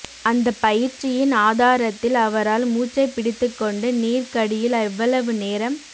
அந்தப் பயிற்சியின் ஆதாரத்தில் அவரால் மூச்சைப் பிடித்துக்கொண்டு நீருக்கடியில் எவ்வளவு நேரம்